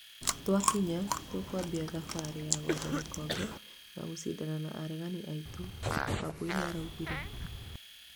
Twakinya, tũkwambia thabarĩ ya gwetha gĩkombe na gũcindana na aregaani aitũ" Wambũi nĩaraũgire